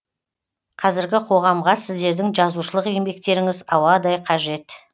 қазіргі қоғамға сіздердің жазушылық еңбектеріңіз ауадай қажет